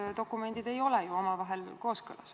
Need dokumendid ei ole ju omavahel kooskõlas.